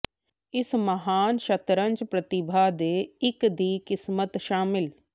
ਇਸ ਮਹਾਨ ਸ਼ਤਰੰਜ ਪ੍ਰਤੀਭਾ ਦੇ ਇੱਕ ਦੀ ਕਿਸਮਤ ਸ਼ਾਮਿਲ